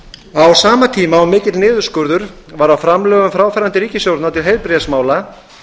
á sama tíma og mikill niðurskurður var á framlögum fráfarandi ríkisstjórnar til heilbrigðismála